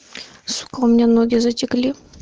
сука у меня ноги затекли